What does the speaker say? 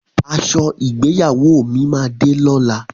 Aṣọ ìgbéyàwó mi máa de lọ́la.